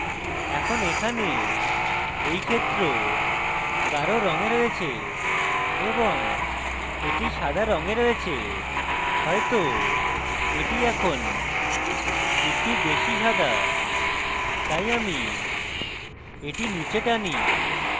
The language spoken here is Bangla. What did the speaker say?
এখন এখানে এই ক্ষেত্র গাঢ় রঙে রয়েছে এবং এটি সাদা রঙে রয়েছে হয়তো এটি এখন একটু বেশী সাদা তাই আমি এটি নীচে টানি